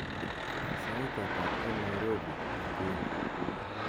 sait ata en nairobi inguni